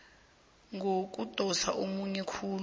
ngokudosa ummoya khulu